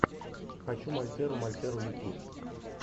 хочу мальтеру мальтеру ютуб